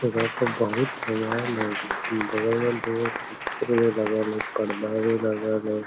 एजा पे बहुत समान हेय बगल में दुगो कुर्सी भी लागल हेय पर्दा भी लागल हेय।